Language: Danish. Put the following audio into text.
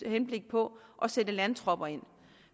henblik på at sætte landtropper ind